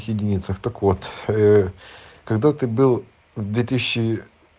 единицах так вот ээ когда ты был в две тысячи